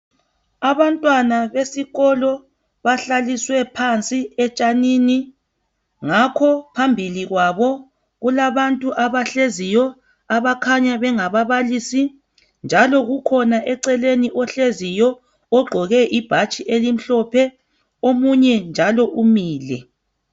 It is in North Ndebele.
Abantwana besikolo bahlaliswe phansi etshanini ngakho phambili kwabo kulabantu abahleziyo abakhanya bengabababilisi njalo ukhona eceleni ohleziyo ogqoke ibhatshi elimhlophe omunye njalo umile.